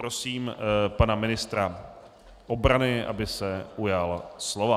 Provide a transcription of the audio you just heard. Prosím pana ministra obrany, aby se ujal slova.